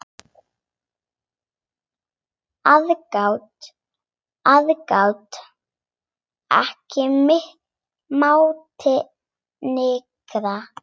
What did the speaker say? Aðgát, aðgát, ekki mátti nykra.